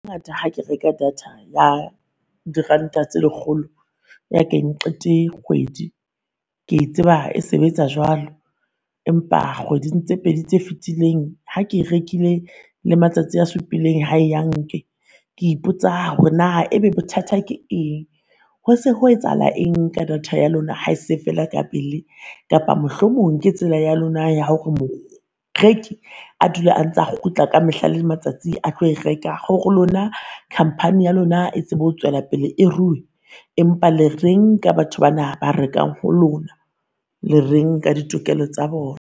Ngata, ha ke reka data ya diranta tse lekgolo ya ke eng qete kgwedi, ke e tseba e sebetsa jwalo. Empa kgweding tse pedi tse fetileng ha ke rekile le matsatsi a supileng, hayi hanke. Ke ipotsa hore naa ebe bothata ke eng, ho se ho etsahala eng ka data ya lona ha e se e feela ka pele? Kapa mohlomong ke tsela ya lona ya hore moreki a dula a ntsa a kgutla ka mehla le matsatsi a tlo e reka ho lona khampani ya lona e tsebe ho tswelapele e ruwe? Empa le reng ka batho bana ba rekang ho lona? Le reng ka ditokelo tsa bona?